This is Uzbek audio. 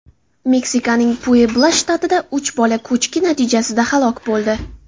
Meksikaning Puebla shtatida uch bola ko‘chki natijasida halok bo‘ldi.